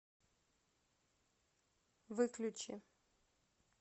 выключи